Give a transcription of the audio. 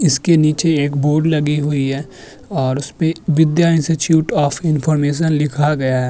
इसके नीचे एक बोर्ड लगी हुई है और उसपे विद्या इंस्टिट्यूट ऑफ़ इन्फॉर्मेशन लिखा गया है।